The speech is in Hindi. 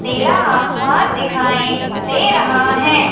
नीला आसमान दिखाइं दे रहा हैं।